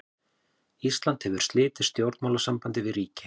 Ísland hefur slitið stjórnmálasambandi við ríki.